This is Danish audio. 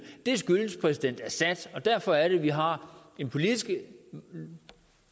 det skyldes præsident assad og derfor er det at vi har en politisk